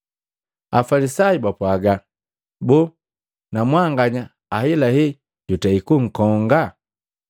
Afalisayu bapwaga, “Boo na mwanganya ahelahe jutei kunkonga?